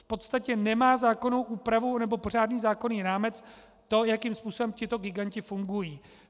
V podstatě nemá zákonnou úpravu nebo pořádný zákonný rámec to, jakým způsobem tito giganti fungují.